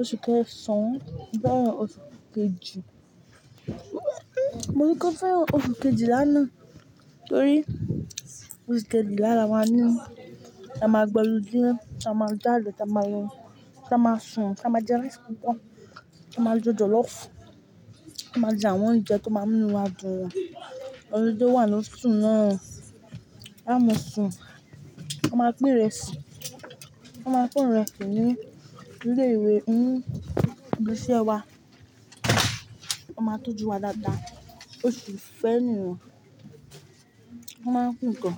oṣù kẹsàn, mo fẹ́ran oṣù kejì. Mo ní kó fẹ́ran oṣù kejìlá nàá torí oṣù kejìlà la maá n ní, la máa gba olúdee, ta máa jade ta mààlọ́, ta máa sùn, tí a máa jẹ rice púpọ̀, tí a máa jẹ jọ̀lọ́fù, tí a máa jẹ àwọn oúnjẹ tó máa mu inu wa dùn. Holiday wá losù náà, á mo sùn, wọ́n máa pín irẹsì, wọ́n máa pin irẹsì ní ilé ìwé ń ibi ise wa, wọ́n máa tọ́jú wa dáadáa. Oṣù fẹ́ ènìyàn, wọ́n máa ń pín nnkan.